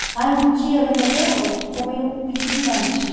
Aí um dia, eu lembro até hoje, eu comi um eu pedi um lanche.